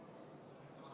Otsus on vastu võetud.